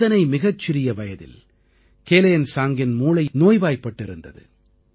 இத்தனை மிகச் சிறிய வயதில் கேலேன்லாங்கின் மூளையில் நோய்வாய்ப்பட்டிருந்தது